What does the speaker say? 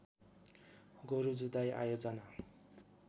गोरु जुधाइ आयोजना